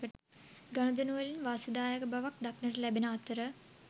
ගනුදෙනුවලින් වාසිදායක බවක් දක්නට ලැබෙන අතර